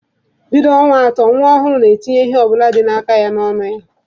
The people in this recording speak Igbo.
Bido ọnwa atọ, nwa ọhụrụ na-etinye ihe ọ bụla dị n'aka ya n'ọnụ.